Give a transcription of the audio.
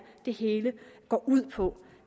det hele går ud på